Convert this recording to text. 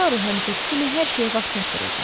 Taru həmişəki kimi hər şeyə vaxt çatdırırdı.